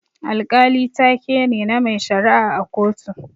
Alkali taa ke ne, na mai shara'a a kotu.